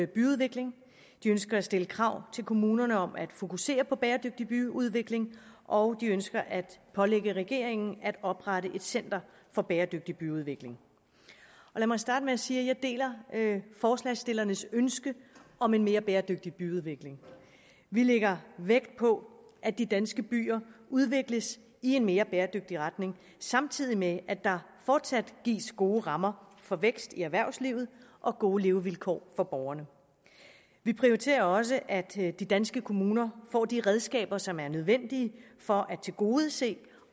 byudvikling de ønsker at stille krav til kommunerne om at fokusere på bæredygtig byudvikling og de ønsker at pålægge regeringen at oprette et center for bæredygtig byudvikling lad mig starte med at sige at jeg deler forslagsstillernes ønske om en mere bæredygtig byudvikling vi lægger vægt på at de danske byer udvikles i en mere bæredygtig retning samtidig med at der fortsat gives gode rammer for vækst i erhvervslivet og gode levevilkår for borgerne vi prioriterer også at de danske kommuner får de redskaber som er nødvendige for at tilgodese